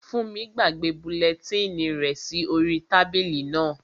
Fúnmi gbàgbé bulẹtínì rẹ̀ sí orí tábìlì náà